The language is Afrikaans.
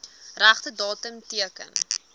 regte datum teken